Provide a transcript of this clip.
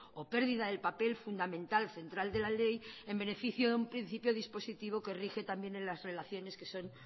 o pérdida del papel fundamental central de la ley en beneficio de un principio dispositivo que rige también en las relaciones que son